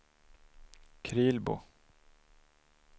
Krylbo